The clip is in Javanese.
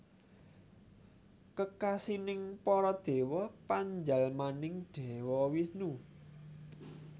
Kekasining para Dewa panjalmaning Dewa Wisnu